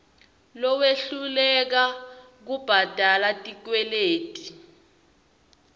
lowehluleka kubhadala tikweleti